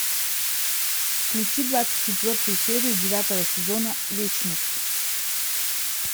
включи двадцать четвертую серию девятого сезона вечность